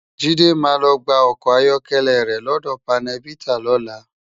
Jide má lò gbá òkò áyòkèlè re lòdò pánèbitá lòlá